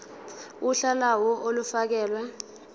uhla lawo olufakelwe